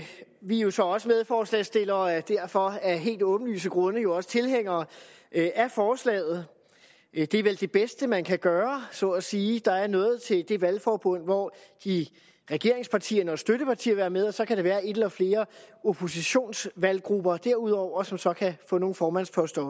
vi er jo så også medforslagsstillere og er derfor af helt åbenlyse grunde jo også tilhængere af forslaget det er vel det bedste man kan gøre så at sige der er noget til det valgforbund hvor regeringspartierne og støttepartierne vil være med og så kan der være en eller flere oppositionsvalggrupper derudover som så kan få nogle formandsposter